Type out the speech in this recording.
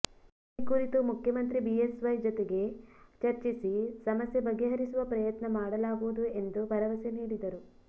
ಈ ಕುರಿತು ಮುಖ್ಯಮಂತ್ರಿ ಬಿಎಸ್ವೈ ಜತೆಗೆ ಚರ್ಚಿಸಿ ಸಮಸ್ಯೆ ಬಗೆ ಹರಿಸುವ ಪ್ರಯತ್ನ ಮಾಡಲಾಗುವುದು ಎಂದು ಭರವಸೆ ನೀಡಿದರು